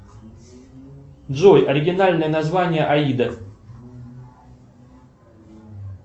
джой оригинальное название аида